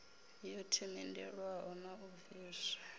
yo themendelwaho na u bviswa